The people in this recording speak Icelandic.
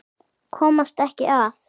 Komast ekki að.